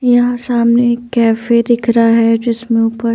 यहाँ सामने कैफे दिख रहा है जिसमें ऊपर--